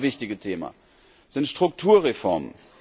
Das zweite wichtige Thema sind Strukturreformen.